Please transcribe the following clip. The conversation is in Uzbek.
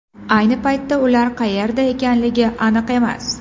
Ayni paytda ular qayerda ekanligi aniq emas.